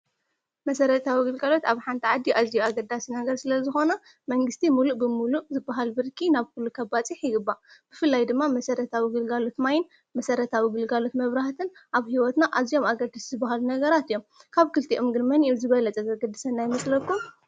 መሠረታ ውግልጋሎት ኣብ ሓንታ ዓዲ ኣዚ ኣገዳስ ነገር ስለ ዝኾኖ መንግሥቲ ምሉእ ብምሉእ ዝበሃል ብርኪ ናብ ኲሉ ኸባጺሕ ይግባ ብፍላይ ድማ መሠረታ ውግልጋሉት ማይን መሠረታ ውግልጋሉት መብራሃትን ኣብ ሕይወትና ኣዚኦም ኣገድስ ዝብሃሉ ነገራት እዮም ካብ ክልቲኦምግድ መን ኦም ዝበለጸ ዘግድሰና ይምስለኩም?